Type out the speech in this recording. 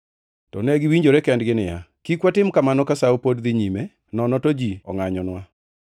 To ne giwinjore kendgi niya, “Kik watim kamano ka Sawo pod dhi nyime, nono to ji ongʼanyonwa.”